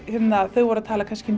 þau voru að tala um